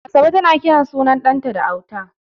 Asabe tana kiran ɗanta da suna kyauta.